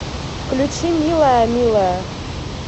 включи милая милая